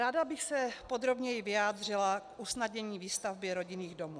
Ráda bych se podrobněji vyjádřila k usnadnění výstavby rodinných domů.